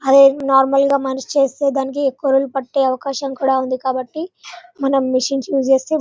అవి నార్మల్ గ మనిషి చేసేదానికి ఎక్కువ రోజులు పెట్టె అవకాశం ఉంది కాబట్టి మనము మచిన్స్ ఉస్ చేస్తే --